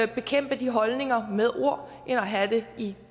bekæmpe de holdninger med ord end at have det i